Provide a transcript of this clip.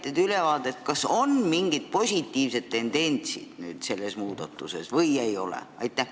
Saite te ülevaate, kas nüüd on selles mingeid positiivseid tendentse või ei ole?